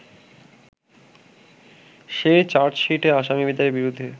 সেই চার্জশিটে আসামীদের বিরুদ্ধে